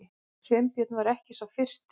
Sveinbjörn var ekki sá fyrsti.